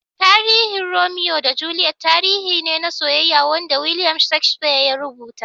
Tarihin Romeo da Juliet tarihi ne na soyyeya Wanda Williams Shakespeare ya rubuta.